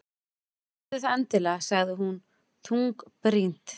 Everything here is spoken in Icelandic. Gerðu það endilega- sagði hún þungbrýnd.